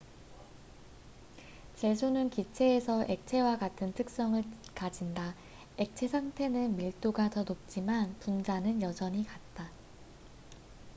질소는 기체에서도 액체와 같은 특성을 가진다 액체 상태는 밀도가 더 높지만 분자는 여전히 같다